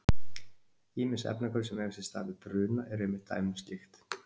Ýmis efnahvörf sem eiga sér stað við bruna eru einmitt dæmi um slíkt.